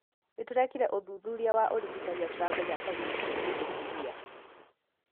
Nĩ tũrekire ũthuthuria wa ũrigitani na turamenya Kariuki ni mũtumia